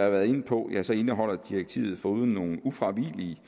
har været inde på indeholder direktivet foruden nogle ufravigelige